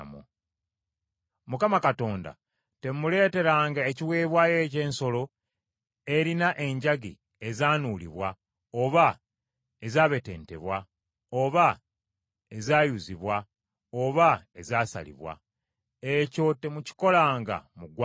Mukama Katonda temumuleeteranga ekiweebwayo eky’ensolo erina enjagi ezaanuubulwa, oba ezaabetentebwa, oba ezaayuzibwa, oba ezaasalibwa. Ekyo temukikolanga mu ggwanga lyammwe,